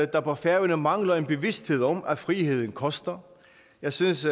der på færøerne mangler en bevidsthed om at friheden koster jeg synes